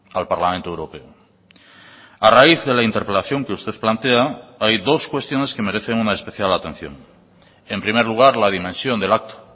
al parlamento europeo a raíz de la interpelación que usted plantea hay dos cuestiones que merecen una especial atención en primer lugar la dimensión del acto